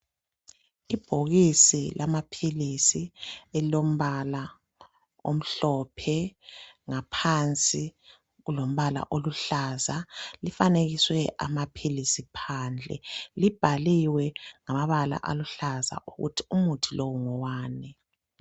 lbhokisi lamapilisi elilombala omhlophe. Ngaphansi kulombala oluhlaza. Lifanekiswe amapilisi phandle. Libhaliwe ngamabala aluhlaza ukuthi umuthi lo ngowani.